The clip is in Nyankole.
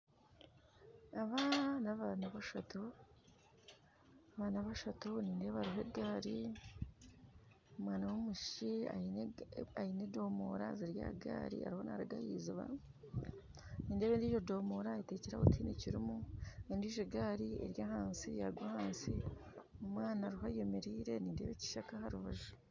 Aba n'abaana bashatu nindeeba hariho egaari omwana w'omwishiki aine edomoora ziri aha gaari ariyo naruga aha iziiba nindeeba endiijo ndoomora eterwe aho tihaine kirimu endiijo gaari yaagwa ahansi omwana ariho ayemereire nindeeba ekishaka aharubanju